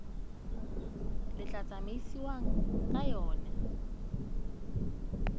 le tla tsamaisiwang ka yona